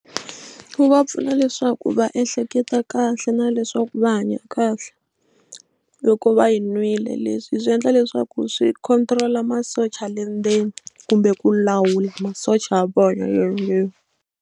Wu va pfuna leswaku va ehleketa kahle na leswaku va hanya kahle loko va yi nwile leswi swi endla leswaku swi control-a masocha le ndzeni kumbe ku lawula masocha ya vona le ndzeni.